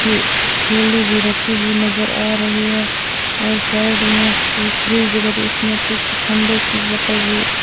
की थैली भी रखी हुई नजर आ रही है और साइड में एक फ्रिज दिखाई दे उसमें कुछ ठंडे की बोतल भी --